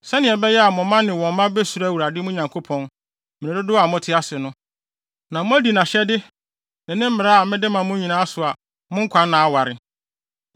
sɛnea ɛbɛyɛ a mo mma ne wɔn mma besuro Awurade, mo Nyankopɔn, mmere dodow a mote ase no, na moadi ne mmara ne nʼahyɛde a mede ma mo no nyinaa so nyinaa so a mo nkwanna aware.